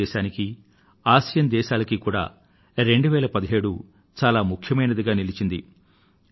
భారతదేశానికి ఆసియాన్ దేశాలకు 2017 చాలా ముఖ్యమైందిగా నిలిచింది